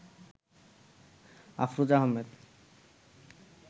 Afroza Ahmed